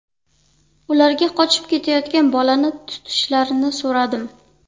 Ularga qochib ketayotgan bolani tutishlarini so‘radim.